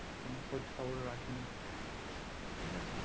কোনো খোঁজ খবর রাখি না ঠিক আছে